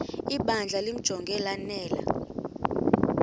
ibandla limjonge lanele